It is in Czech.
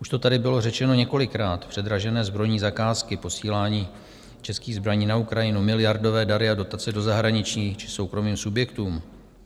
Už to tady bylo řečeno několikrát: předražené zbrojní zakázky, posílání českých zbraní na Ukrajinu, miliardové dary a dotace do zahraničí či soukromým subjektům.